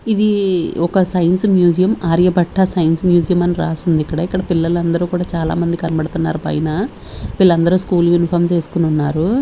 ఇది ఒక science museum Aryabhatta science museum అని రాసుందిక్కడ ఇక్కడ పిల్లలందరూ కూడా చాలా మంది కనపడుతున్నారు పైన వీళ్ళందరూ స్కూల్ యూనిఫార్మ్స్ వేసుకొనున్నారు.